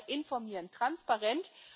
Noch einmal informieren, transparent.